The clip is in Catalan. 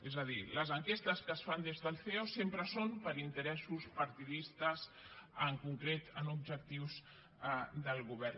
és a dir les enquestes que es fan des del ceo sempre són per interessos partidistes en concret en objectius del govern